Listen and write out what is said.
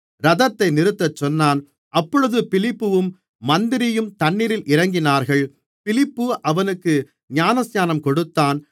இரதத்தை நிறுத்தச்சொன்னான் அப்பொழுது பிலிப்புவும் மந்திரியும் தண்ணீரில் இறங்கினார்கள் பிலிப்பு அவனுக்கு ஞானஸ்நானம் கொடுத்தான்